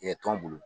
tɔn bolo